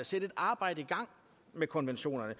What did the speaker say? sætte et arbejde i gang med konventionerne